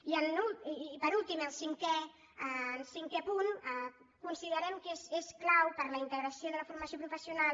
i per últim en cinquè punt considerem que és clau per a la integració de la formació professional